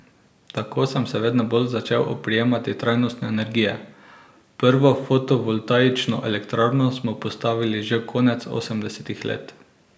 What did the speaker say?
Tako sem se vedno bolj začel oprijemati trajnostne energije, prvo fotovoltaično elektrarno smo postavili že konec osemdesetih let.